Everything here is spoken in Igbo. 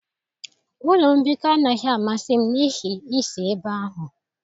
Ụlọ mbikọ anaghị amasị m n'ihi isi ebe ahụ.